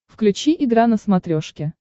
включи игра на смотрешке